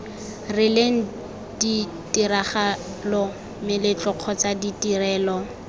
rileng ditiragalo meletlo kgotsa ditirelo